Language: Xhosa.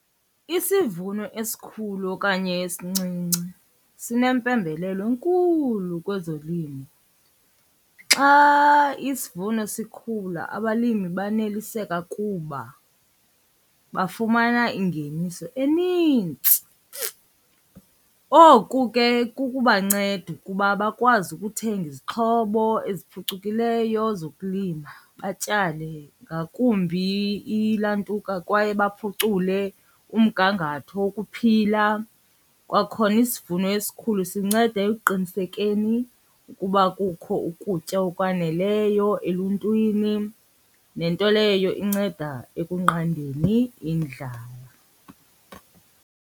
Isivuno esikhulu okanye esincinci sinempembelelo enkulu kwezolimo. Xa isivuno sikhula abalimi baneliseka kuba bafumana ingeniso enintsi. Oku ke kukubanceda ukuba bakwazi ukuthenga izixhobo eziphucukileyo zokulima batyale, ngakumbi ilantuka kwaye baphucule umgangatho wokuphila. Kwakhona isivuno esikhulu sinceda ekuqinisekeni ukuba kukho ukutya okwaneleyo eluntwini nento leyo inceda ekunqandeni indlala.